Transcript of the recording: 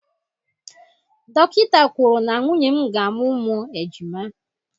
Dọkịta kwuru na nwunye m ga-amụ ụmụ ejima